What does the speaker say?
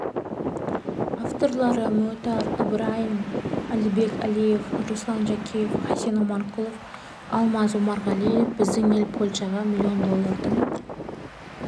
авторлары мұітар ыбырайым әлібек әлиев руслан жәкеев хасен омарқұлов алмаз омарғалиев біздің ел польшаға млн доллардың